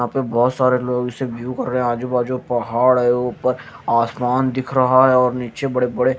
यहां पे बहोत सारे लोग से व्यू कर रहे है आजू बाजू पहाड़ है ऊपर आसमान दिख रहा है और नीचे बड़े बड़े--